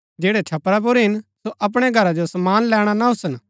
जैड़ै छपरा पुर हिन सो अपणै घरा जो समान लैणा ना ओसन